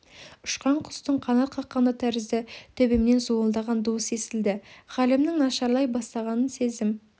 ұшқан құстың қанат қаққаны тәрізді төбемнен зуылдаған дыбыс естілді халімнің нашарлай бастағанын сездім